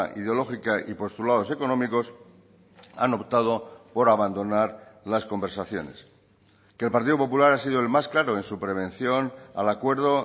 ideológica y postulados económicos han optado por abandonar las conversaciones que el partido popular ha sido el más claro en su prevención al acuerdo